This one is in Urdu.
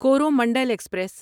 کورومنڈل ایکسپریس